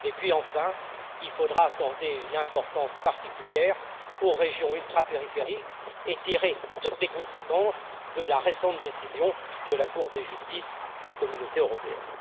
Troisièmement, il faudra accorder une importance particulière aux régions ultrapériphériques et tirer toutes les conséquences de la récente décision de la Cour de justice de l'Union européenne.